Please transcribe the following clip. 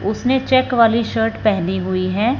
उसने चेक वाली शर्ट पहनी हुई है।